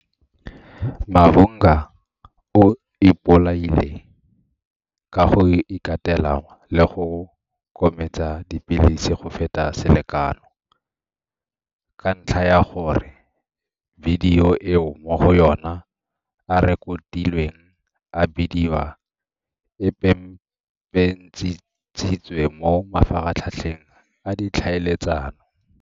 Mavhunga o ipolaile ka go ikatela le go kometsa dipilisi go feta selekano ka ntlha ya gore bidio eo mo go yona a rekotilweng a bediwa e pepentshitswe mo mafaratlhatlheng a ditlhaeletsano.